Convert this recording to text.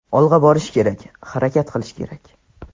Olg‘a borish kerak, harakat qilish kerak.